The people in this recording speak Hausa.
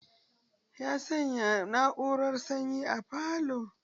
Ya sanya na'urar sanyi a falo.